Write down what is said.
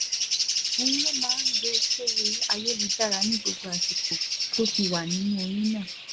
òun ló máa ń gbé e sórí ayélujára ní gbogbo àsìkò tó fi wà nínú oyún náà